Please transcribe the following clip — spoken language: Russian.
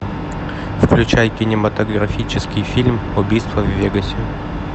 включай кинематографический фильм убийство в вегасе